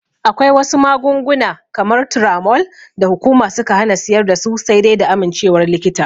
Akwai wasu magunguna kamar Turamol da hukuma suka hana siyar dasu sai dai da amincewar likita.